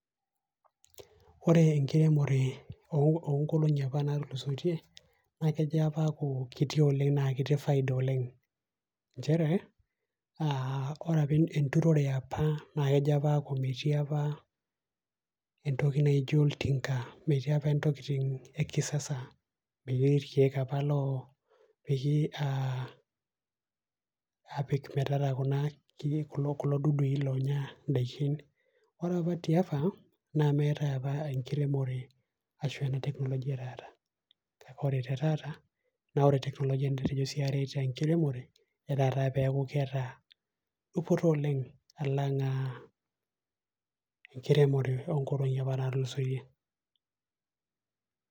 Ore enkiremore onkolong'i apa natulusoitie, na kejo apa aaku kiti oleng' na ketii faida oleng'. Njere, ah ore apa enturore eapa na kejo apa aaku metii entoki naijo oltinka. Metii ntokitin ekisasa. Metii irkeek apa lopiki ah apik metara kuna kulo dudui lonya idaikin. Ore apa tiapa, na meetae apa enkiremore ashu a ena technology etaata. Ore te taata, na ore technology netejo si aret enkiremore inata peeku keeta dupoto oleng' alang' ah enkiremore onkolong'i apa natulusoitie.